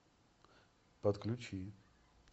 подключи